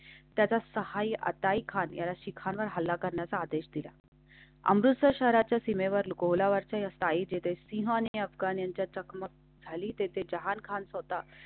त्याच्या सहाय्याताई खाण्या शिखर हल्ला करण्याचा आदेश दिला. अमृतसर शहराच्या सीमेवर अकोलावरच्या सायी जेथे सिंहने अफगाण्यांच्या चकमक झाली तेथे जहानखान होता.